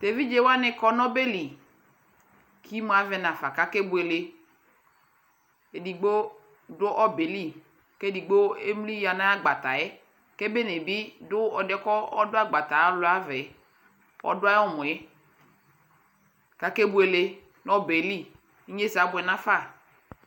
ɛvidzɛ wani kɔnʋ ɔbɛli kʋ imʋ avɛ nʋ aƒa kʋ akɛ bʋɛlɛ, ɛdigbɔ dʋ ɔbɛli kʋ ɛdigbɔ ɛmli yanʋ agbataɛ kʋ ɛbɛ bi dʋ ɛdiɛ kʋ ɔdʋ agbata alʋa aɣɛ, ʋdʋ ayi ɔmɔɛ kʋ akɛ bʋɛlɛ nʋ ɔbɛli, inyɛsɛ abʋɛ nʋ aƒa